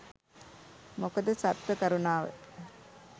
මොකද සත්ව කරුනාව